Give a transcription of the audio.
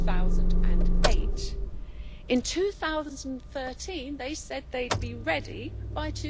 2008. In 2013, they said they would be ready by